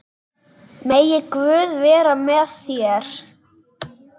Megi Guð vera með þér.